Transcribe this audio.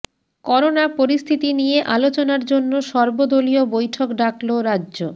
corona পরিস্থিতি নিয়ে আলোচনার জন্য সর্বদলীয় বৈঠক ডাকল রাজ্য